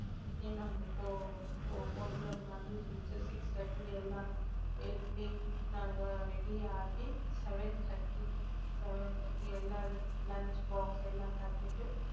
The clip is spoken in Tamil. எப்படியும் நாங்க இருந்துச்சு six thirty எல்லாம் எழுப்பி நாங்க ready ஆகி seven thirty, seven thirty எல்லாம் அது lunch box எல்லாம் கட்டிட்டு